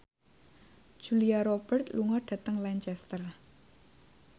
Julia Robert lunga dhateng Lancaster